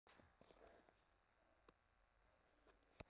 LÁRUS: Hér má enga miskunn sýna.